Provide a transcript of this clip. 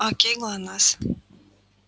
окей глонассс